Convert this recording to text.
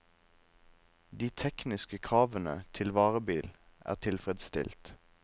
De tekniske kravene til varebil er tilfredsstilt.